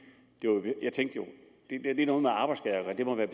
er noget med arbejdsskader og det må være